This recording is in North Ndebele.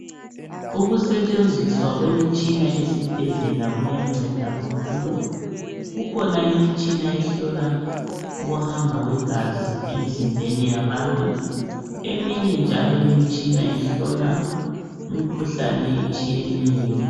Ukusentshenziswa kwemitshina esibhedlela kuyanceda kakhulu kukhona imitshina ehlola ukuhamba kwegazi emzimbeni yabantu eminye njalo ihlola imikhuhlane etshiyeneyo.